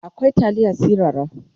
akwai taliya sirara